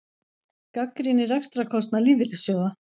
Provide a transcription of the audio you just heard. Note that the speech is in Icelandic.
Gagnrýnir rekstrarkostnað lífeyrissjóða